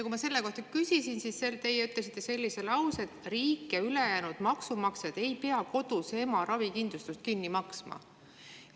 Kui ma selle kohta küsisin, siis teie ütlesite sellise lause, et riik ja maksumaksjad ei pea koduse ema ravikindlustust kinni maksma.